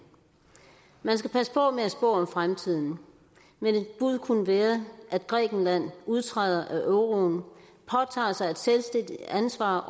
man skal passe på med at spå om fremtiden men et bud kunne være at grækenland udtræder af euroen påtager sig et selvstændigt ansvar